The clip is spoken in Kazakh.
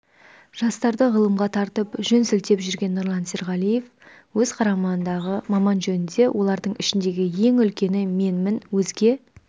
жастарды ғылымға тартып жөн сілтеп жүрген нұрлан серғалиев өз қарамағындағы маман жөнінде олардың ішіндегі ең үлкені менмін өзге